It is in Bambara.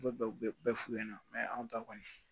U bɛ bɛɛ f'u ɲɛna anw ta kɔni